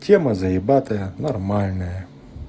тема заебатая нормальное